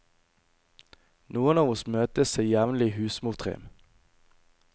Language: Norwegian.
Noen av oss møtes til jevnlig husmortrim.